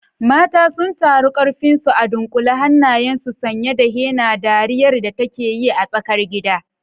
Mata sun taru, karfinsu a dunkule, hannayensu sanye da henna, dariyar da take yi a tsakar gida.